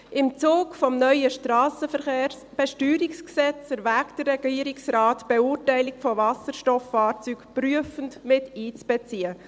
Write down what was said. Im Zug des neuen Strassenverkehrsbesteuerungsgesetzes erwägt der Regierungsrat die Beurteilung von Wasserstofffahrzeugen prüfend miteinzubeziehen.